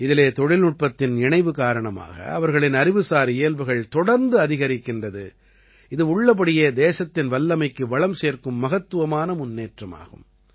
இதிலே தொழில்நுட்பத்தின் இணைவு காரணமாக அவர்களின் அறிவுசார் இயல்புகள் தொடர்ந்து அதிகரிக்கிறது இது உள்ளபடியே தேசத்தின் வல்லமைக்கு வளம் சேர்க்கும் மகத்துவமான முன்னேற்றமாகும்